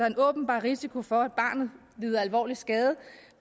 en åbenbar risiko for at barnet lider alvorlig skade